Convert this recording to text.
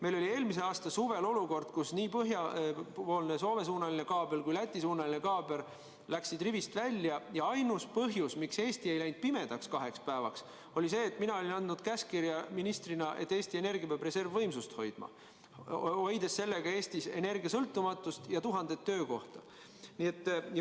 Meil oli eelmise aasta suvel olukord, kus nii põhjapoolne, Soome-suunaline kaabel kui ka Läti-suunaline kaabel läksid rivist välja, ja ainus põhjus, miks Eesti ei jäänud kaheks päevaks pimedusse, oli see, et mina olin andnud ministrina käskkirja, et Eesti Energia peab reservvõimsust hoidma, hoides sellega Eestis energiasõltumatust ja tuhandet töökohta.